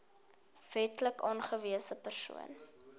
wetlik aangewese persoon